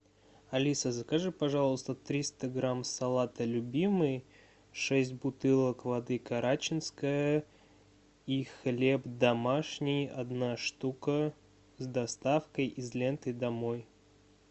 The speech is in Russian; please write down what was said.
алиса закажи пожалуйста триста грамм салата любимый шесть бутылок воды карачинская и хлеб домашний одна штука с доставкой из ленты домой